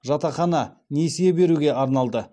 жатақхана несие беруге арналды